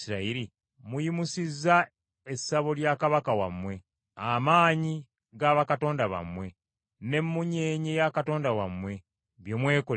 Muyimusizza essabo lya kabaka wammwe, amaanyi ga bakatonda bammwe, n’emmunyeenye ya katonda wammwe, bye mwekolera mmwe.